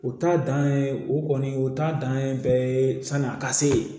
O ta dan ye o kɔni o ta dan ye bɛɛ ye san'i a ka se yen